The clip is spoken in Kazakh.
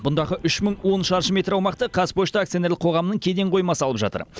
бұндағы үш мың он шаршы метр аумақты қазпошта акционерлік қоғамының кеден қоймасы алып жатыр